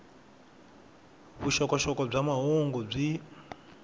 vuxokoxoko bya mahungu byi